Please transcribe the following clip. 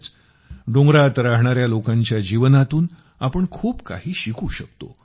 खरंच डोंगरात राहणाऱ्या लोकांच्या जीवनातून आपण खूप काही शिकू शकतो